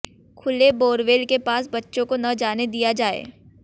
खुले बोरवेल के पास बच्चों को न जाने दिया जाये